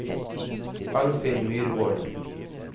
Arnfinn Myrvold